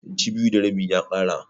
Inci biyu da rabi ya ƙara.